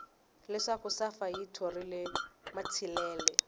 leswaku safa yi thorile matsilele